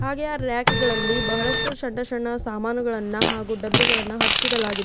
ಹಾಗೆ ಆ ರ್ಯಾಕ್ಗ ಳ್ಳಿ ಬಹಳಷ್ಟು ಸಣ್ಣ ಸಣ್ಣ ಸಾಮಾನುಗಳನ್ನ ಹಾಗು ಡಬ್ಬಿಗಳನ್ನ ಹಚ್ಚಿಡಲಾಗಿದೆ.